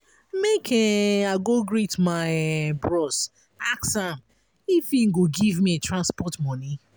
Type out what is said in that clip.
make um i go greet my um bros ask am if im go give me transport moni.